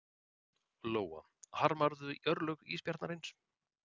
Lóa: Harmarðu örlög ísbjarnarins?